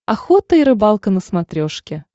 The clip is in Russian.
охота и рыбалка на смотрешке